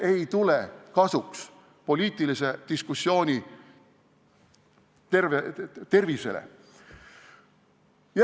See ei tule poliitilise diskussiooni tervisele kasuks.